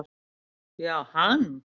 Já, hann